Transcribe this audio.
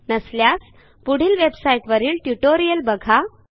नसल्यास पुढील वेबसाईट वरील ट्युटोरियल बघा